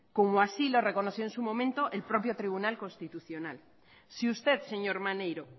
como así lo reconoció en su momento el propio tribunal constitucional si usted señor maneiro